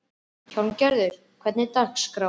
Hjálmgerður, hvernig er dagskráin?